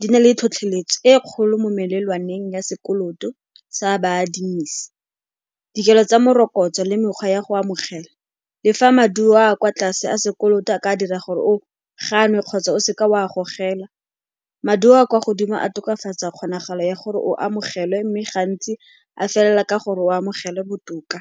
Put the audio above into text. Di na le tlhotlheletso e kgolo mo melelwaneng ya sekoloto sa baadimisi. Dikelo tsa morokotso le mekgwa ya go amogela le fa maduo a kwa tlase a sekoloto a ka dira gore o ganwe kgotsa o seka o a gogela, maduo a kwa godimo a tokafatsa kgonagalo ya gore o amogelwe mme gantsi a felela ka gore o amogelwe botoka.